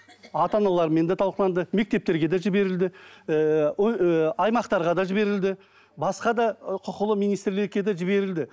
ата аналармен де талқыланды мектептерге де жіберілді ііі ііі аймақтарға да жіберілді басқа да ы құқылы министрлікке де жіберілді